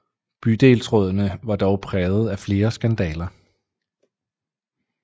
Bydelsrådene var dog præget af flere skandaler